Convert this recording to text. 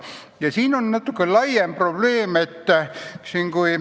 Ja siin on ka natuke laiem probleem.